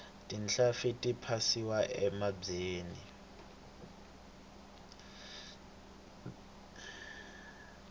tinhlampfi ti phasiwa enambyeni